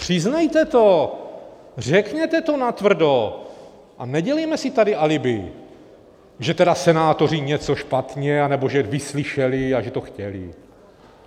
Přiznejte to, řekněte to natvrdo a nedělejme si tady alibi, že tedy senátoři něco špatně, anebo že vyslyšeli a že to chtěli.